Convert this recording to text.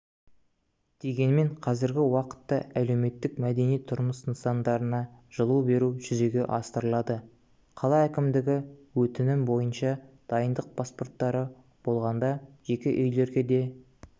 дегенмен қазіргі уақытта әлеуметтік мәдени тұрмыс нысандарына жылу беру жүзеге асырылады қала әкімдігі өтінімі бойынша дайындық паспорттары болғанда жеке үйлерге де